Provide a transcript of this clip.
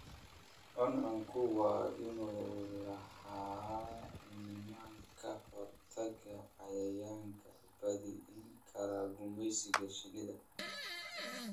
Cuncunku waa inuu lahaadaa nidaam ka hortag ah cayayaanka baabi'in kara gumeysiga shinnida.